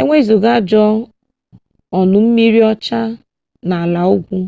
e wezụga aja ọnụmmiri ọcha na ala ugwu